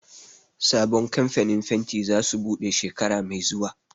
Sabon kamfanin fenti za su buɗe shekara mai zuwa